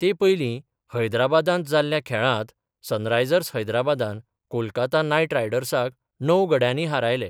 ते पयली हैद्राबादांत जाल्ल्या खेळांत, सनरायजर्स हैद्राबादान, कोलकाता नायट रायडर्साक णव गड्यानी हारयले.